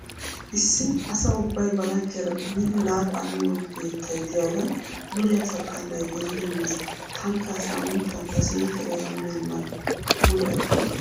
Issi asa ubbay ba laggiyara biidi laaxaa miyo keettay diyagan dure asa xallay gelidi mees. Taanikka ha saaminttan ta siiqeera ya beennan mule aggikke.